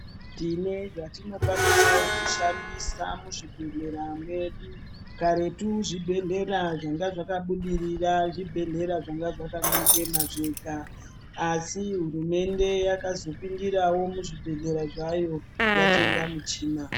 Tine zvatinokwanisawo kushandisa muzvibhehlera medu. Karetu zvibhedhlera zvanga zvakabudirira zvibhedhlera zvanga zvakaema zvega asi hurumende yakazopindirawo muzvibhehlera zvayo yatenga michina.